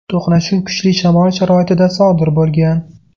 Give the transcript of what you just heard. To‘qnashuv kuchli shamol sharoitida sodir bo‘lgan.